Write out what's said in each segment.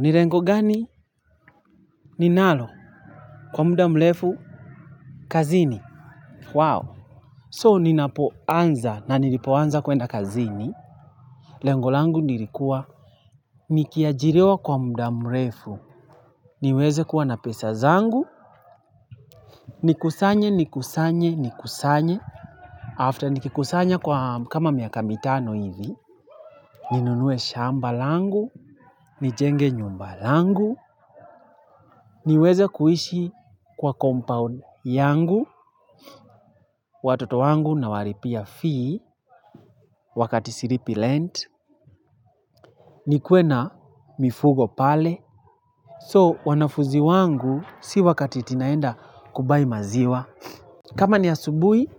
Ni lengo gani? Ninalo, kwa muda mrefu, kazini. So ninapoanza na nilipoanza kwenda kazini. Lengo langu nilikuwa, nikiajiriwa kwa muda mlefu, niweze kuwa na pesa zangu, nikusanye, nikusanye, nikusanye. After nikikusanya kwa kama miaka mitano hivi, ninunue shamba langu, nijenge nyumba langu, niweze kuishi kwa compound yangu watoto wangu nawalipia fee wakati silipi rent nikue na mifugo pale so wanafunzi wangu si wakati eti naenda ku buy maziwa kama ni asubuhi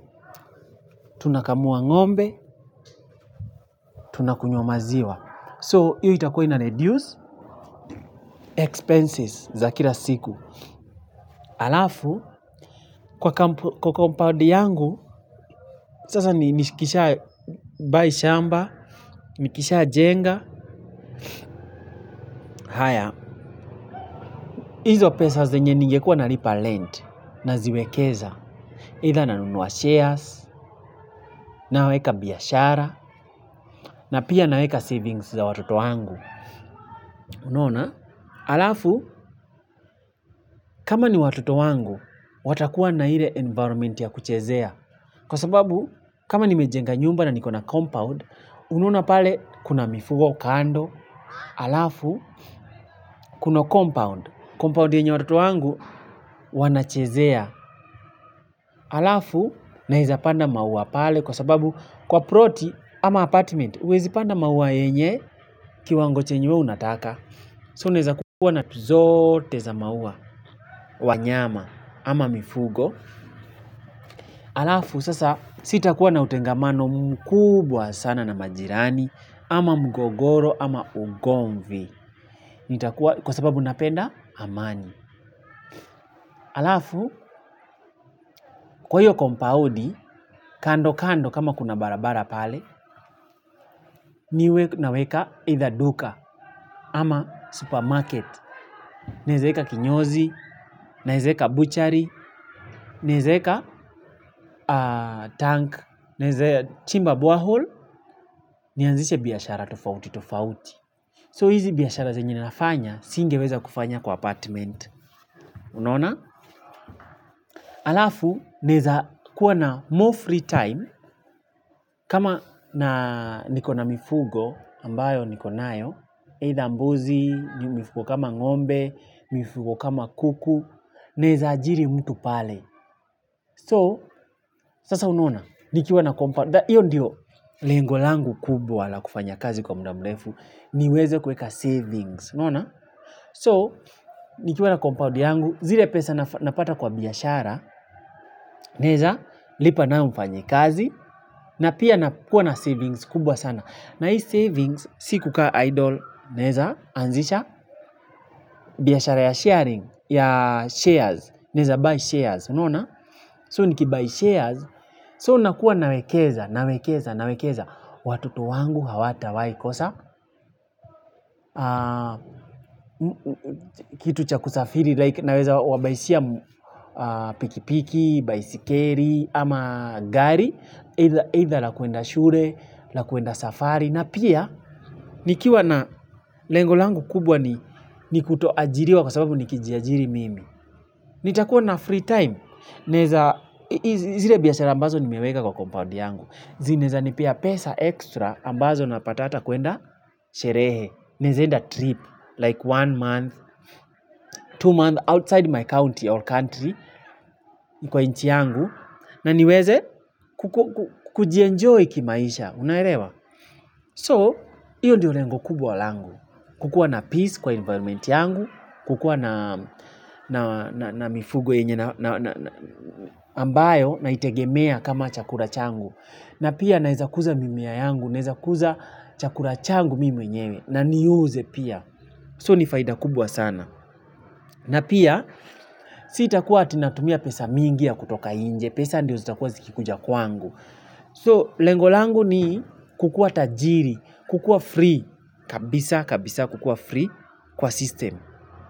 tunakamua ng'ombe tunakunywa maziwa so hio itakuwa na ina reduce expenses za kila siku alafu kwa compound yangu sasa nishikisha buy shamba, nikisha jenga, haya, izo pesa zenye ningekua nalipa rent naziwekeza eidha nanunua shares, naweka biashara, na pia naweka savings za watoto wangu unaona, alafu, kama ni watoto wangu, watakuwa na ile environment ya kuchezea. Kwa sababu, kama nimejenga nyumba na niko na compound, unaona pale kuna mifugo kando alafu kuna compound, compound yenye watoto wangu wanachezea. Alafu naweza panda maua pale kwa sababu kwa ploti ama apartment uwezi panda maua yenye kiwango chenye we unataka. So unaweza kuwa na tu zote za maua wanyama ama mifugo. Alafu sasa sitakuwa na utengamano mkubwa sana na majirani ama mgogoro ama ugomvi. Kwa sababu napenda amani. Alafu, kwa hiyo kampaundi, kando kando kama kuna barabara pale, niwe naweka eidha duka ama supermarket, naeza weka kinyozi, naeza eka buchari, naeza weka tank, naweza chimba bolehole nianzishe biashara tofauti tofauti. So hizi biashara zenye ninafanya, singeweza kufanya kwa apartment, unaona? Alafu, neza kuwa na more free time, kama na niko na mifugo, ambayo niko nayo, eidha mbozi, mifugo kama ng'ombe, mifugo kama kuku, naweza ajiri mtu pale. So, sasa unaona, nikiwa na kompa, hiyo ndiyo lengo langu kubwa la kufanya kazi kwa muda mrefu, niweze kuweka savings, unaona? So, nikiwa na compound yangu, zile pesa napata kwa biashara, naweza, lipa nayo mfanyakazi, na pia na kuwa na savings kubwa sana. Na hii savings, si kuka idol, naweza anzisha, biashara ya sharing, ya shares, naweza, buy shares, unaona? So niki buy shares, so nakuwa nawekeza, nawekeza, nawekeza, watoto wangu hawatawai kosa, kitu cha kusafiri, like naweza wa baishia pikipiki, baisikeli, ama gari, eidha la kuenda shule, la kuenda safari, na pia nikiwa na lengo langu kubwa ni kutoajiriwa kwa sababu ni kijiajiri mimi. Nitakuwa na free time naweza, zile biashara ambazo nimeweka kwa compound yangu zinweza nipea pesa extra ambazo napata hata kwenda sherehe naweza enda trip like one month, two month outside my county or country. Kwa nchi yangu na niweze kujienjoy kimaisha, unaelewa. So, iyo ndio lengo kubwa langu. Kukua na peace kwa environment yangu kukua na mifugo yenye ambayo naitegemea kama chakula changu na pia naweza kuza mimea yangu naweza kuza chakula changu mimi mwenyewe na niuze pia so ni faida kubwa sana na pia sitakuwa ati natumia pesa mingi ya kutoka inje pesa ndio zitakuwa zikikuja kwangu so lengo langu ni kukuwa tajiri kukuwa free kabisa kabisa kukuwa free kwa system.